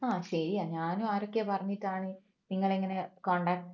ആ ശരിയാ ഞാനും ആരൊക്കെയോ പറഞ്ഞിട്ടാണ് നിങ്ങളെ ഇങ്ങനെ contact